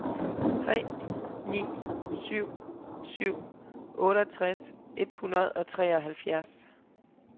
tre ni syv syv otteogtres et hundrede og treoghalvfjerds